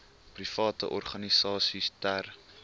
private organisasies ter